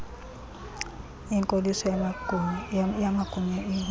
inkoliso yamagunya engingqi